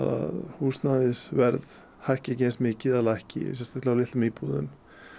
húsnæðisverð hækki ekki eins mikið eða lækki sérstaklega á litlum íbúðum